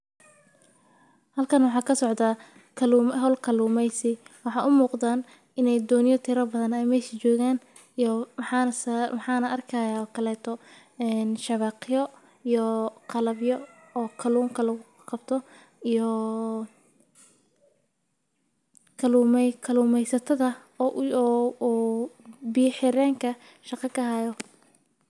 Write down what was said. Halkaan waxaa ka socda kaluum ahol kaluumaysi. Waxa u muuqdan inay dooniyo tiro badan a meeshi joogaan. Yoo maxaana saar maxaana arkaya kalay to, in shabakhiyo iyo qallabyo oo kalluun kaluu qabto ioo kaluumay kaluumaysatada. Oo u i owo oo biya xerreenka shaqo ka hayo.